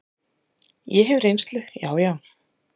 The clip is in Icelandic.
Ég hef reynslu, já, já.